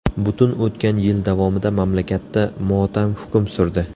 Butun o‘tgan yil davomida mamlakatda motam hukm surdi.